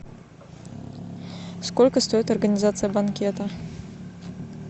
сколько стоит организация банкета